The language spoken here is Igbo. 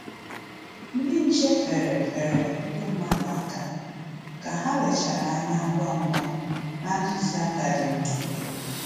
Ndị nche feere feere ndị mmadụ aka ka ha lechara anya ngwa ngwa na ntụziaka dị mma